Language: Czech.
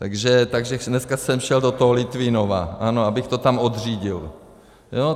Takže dneska jsem šel do toho Litvínova, ano, abych to tam odřídil, jo?